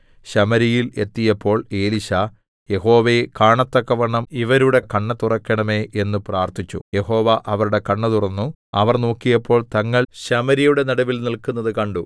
ശമര്യയിൽ എത്തിയപ്പോൾ എലീശാ യഹോവേ കാണത്തക്കവണ്ണം ഇവരുടെ കണ്ണ് തുറക്കേണമേ എന്ന് പ്രാർത്ഥിച്ചു യഹോവ അവരുടെ കണ്ണ് തുറന്നു അവർ നോക്കിയപ്പോൾ തങ്ങൾ ശമര്യയുടെ നടുവിൽ നില്ക്കുന്നത് കണ്ടു